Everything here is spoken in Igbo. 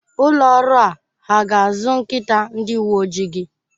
Ụlọ ọrụ a ha ga-azụ nkịta ndi uwe ojii gị?